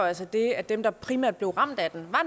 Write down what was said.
altså det at dem der primært blev ramt af den